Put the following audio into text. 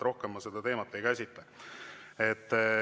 Rohkem ma seda teemat ei käsitle.